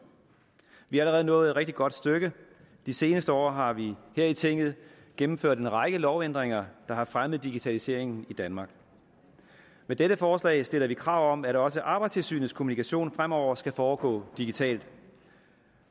vi er allerede nået et rigtig godt stykke de seneste år har vi her i tinget gennemført en række lovændringer der har fremmet digitaliseringen i danmark med dette forslag stiller vi krav om at også arbejdstilsynets kommunikation fremover skal foregå digitalt